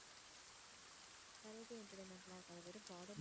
வேற எதும் entertainment லாம் இருக்காதா, வெறும் garden ஆ